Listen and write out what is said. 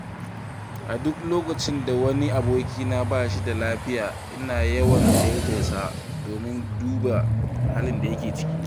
A duk lokacin da wani abokina ba shi da lafiya ina yawan ziyartarsa domin duba halin da yake ciki.